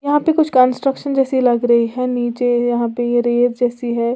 यह पे कुछ कंस्ट्रक्शन जैसी लग रही है नीचे यहां पे ये रेत जैसी है।